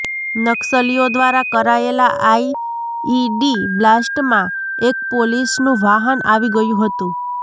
નક્સલીઓ દ્વારા કરાયેલા આઈઈડી બ્લાસ્ટમાં એક પોલીસનું વાહન આવી ગયું હતું